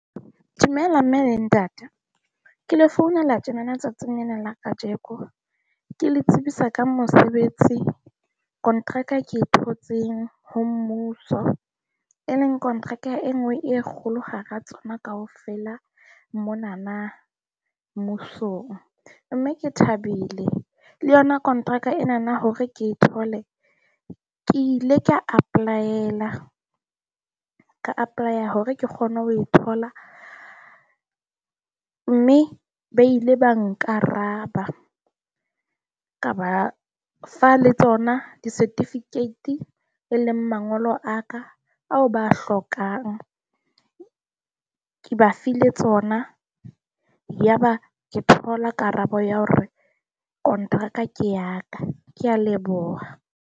Dumela mme le ntate. Ke le founela tjenana tsatsing lena la kajeko ke le tsebisa ka mosebetsi. Contract e ke thotseng ho mmuso e leng contract e nngwe e kgolo hara tsona kaofela monana mmusong. Mme ke thabile le yona kontraka enana hore ke e thole ke ile ka apply-ela ka apply-a hore ke kgone ho e thola, mme ba ile ba nkaraba ka ba fa le tsona di-certificate e leng mangolo a ka ao ba hlokang. Ke ba file tsona, yaba ke thola karabo ya hore kontraka ke ya ka. Ke a leboha.